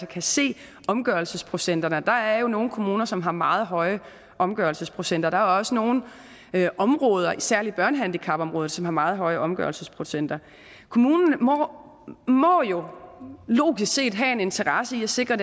kan se omgørelsesprocenterne og der er jo nogle kommuner som har meget høje omgørelsesprocenter der er også nogle områder især børnehandicapområdet som har meget høje omgørelsesprocenter kommunen må må jo logisk set have en interesse i at sikre